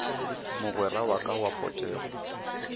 mogwera wa ka wa potego